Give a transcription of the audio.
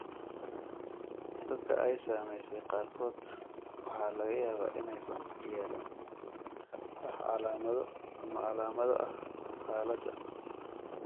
Dadka ay saameysay qaarkood waxaa laga yaabaa inaysan yeelan wax calaamado ama calaamado ah xaaladda.